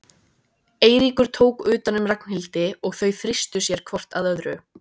Eiríkur tók utan um Ragnhildi og þau þrýstu sér hvort að öðru.